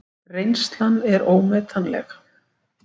Reynslan er ómetanleg